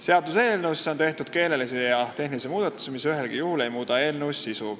Seaduseelnõus on tehtud keelelisi ja tehnilisi muudatusi, mis ühelgi juhul ei muuda eelnõu sisu.